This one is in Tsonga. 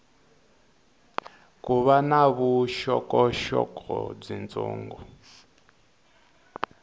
ko va na vuxokoxoko byitsongo